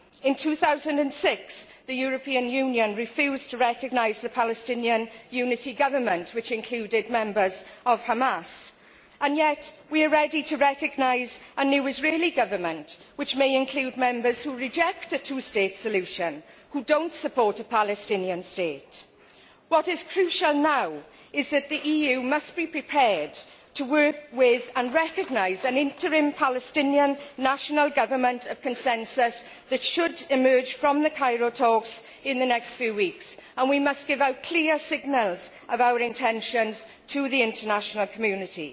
In 2006, the European Union refused to recognise the Palestinian Unity Government, which included members of Hamas, and yet we are ready to recognise a new Israeli Government, which may include members who reject a two state solution, who do not support a Palestinian state. What is crucial now is that the EU must be prepared to work with and recognise an interim Palestinian national government of consensus that should emerge from the Cairo talks in the next few weeks, and we must give out clear signals of our intentions to the international community.